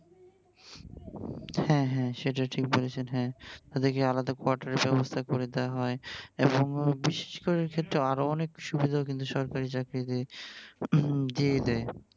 হ্যা হ্যা সেটা ঠিক বলেছেন হ্যা তাদেরকে আলাদা quarter এর ব্যাবস্থা করে দেয়া হয় এবং বিশেষ করে আরো অনেক সুবিধা কিন্তু সরকারি চাকরিতে দিয়ে দেয় ।